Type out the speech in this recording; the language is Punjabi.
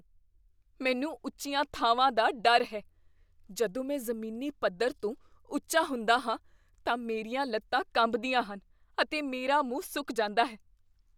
ਮੈਨੂੰ ਉੱਚੀਆਂ ਥਾਵਾਂ ਦਾ ਡਰ ਹੈ। ਜਦੋਂ ਮੈਂ ਜ਼ਮੀਨੀ ਪੱਧਰ ਤੋਂ ਉੱਚਾ ਹੁੰਦਾ ਹਾਂ ਤਾਂ ਮੇਰੀਆਂ ਲੱਤਾਂ ਕੰਬਦੀਆਂ ਹਨ, ਅਤੇ ਮੇਰਾ ਮੂੰਹ ਸੁੱਕ ਜਾਂਦਾ ਹੈ।